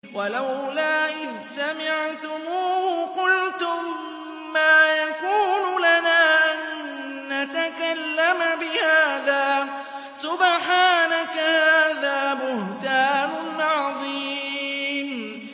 وَلَوْلَا إِذْ سَمِعْتُمُوهُ قُلْتُم مَّا يَكُونُ لَنَا أَن نَّتَكَلَّمَ بِهَٰذَا سُبْحَانَكَ هَٰذَا بُهْتَانٌ عَظِيمٌ